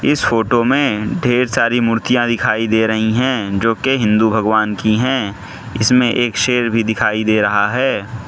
इस फोटो में ढेर सारी मूर्तियां दिखाई दे रही हैं जो कि हिंदू भगवान की हैं इसमें एक शेर भी दिखाई दे रहा है।